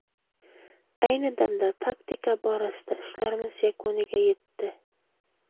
Ayni damda taktika borasida ishlarimiz yakuniga yetdi.